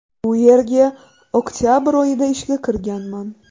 Bu yerga oktabr oyida ishga kirganman.